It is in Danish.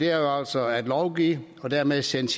er jo altså at lovgive og dermed sende